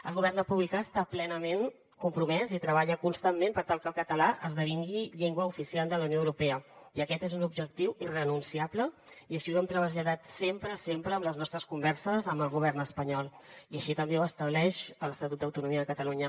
el govern republicà està plenament compromès i treballa constantment per tal que el català esdevingui llengua oficial de la unió europea i aquest és un objectiu irrenunciable i així ho hem traslladat sempre sempre en les nostres converses amb el govern espanyol i així també ho estableix l’estatut d’autonomia de catalunya